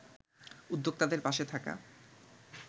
উদ্যোক্তাদের পাশে থাকা